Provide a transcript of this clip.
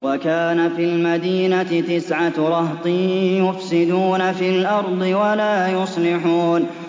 وَكَانَ فِي الْمَدِينَةِ تِسْعَةُ رَهْطٍ يُفْسِدُونَ فِي الْأَرْضِ وَلَا يُصْلِحُونَ